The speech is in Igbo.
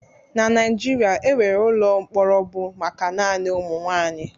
Na Naijiria, enwere ụlọ mkpọrọ bụ maka naanị ụmụ nwaanyị.